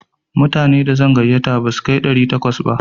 Mutane da zan gayyata ba za su kai ɗari takwas ba.